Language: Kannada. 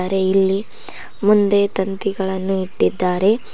ಅರೆ ಇಲ್ಲಿ ಮುಂದೆ ತಂತಿಗಳನ್ನು ಇಟ್ಟಿದ್ದಾರೆ.